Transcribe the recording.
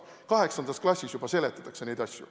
Juba 8. klassis seletatakse neid asju.